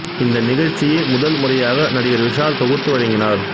இந்த நிகழ்ச்சியை முதல் முறையாக நடிகர் விஷால் தொகுத்து வழங்கினார்